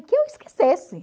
que eu esquecesse.